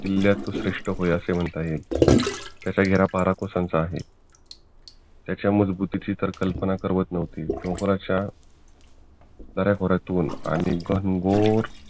किल्ल्याचे श्रेष्ठ होय असे म्हणता येईल तसा हा बर कोसांचा आहे त्याच्या मजबुतीची टर कल्पना करवत न्हवती डोंगराच्या दऱ्याखोऱ्यातून आणि घनघोर